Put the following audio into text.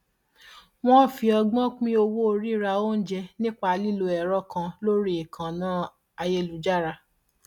wọn fi ọgbọn pín owó rírà oúnjẹ nípa lílo ẹrọ kan lórí ìkànnà ayélujára